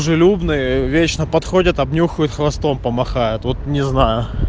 дружелюбные вечно подходят обнюхают хвостом помахают вот не знаю